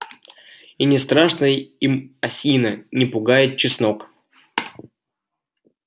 и не страшна им осина не пугает чеснок